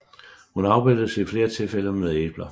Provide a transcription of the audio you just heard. Hun afbildes i flere tilfælde med æbler